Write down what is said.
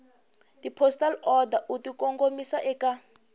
tipostal order u tikongomisa eka